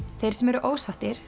þeir sem voru ósáttir